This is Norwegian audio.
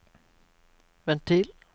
ventil